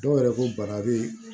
Dɔw yɛrɛ ko bana bɛ